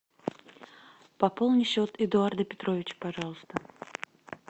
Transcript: пополни счет эдуарда петровича пожалуйста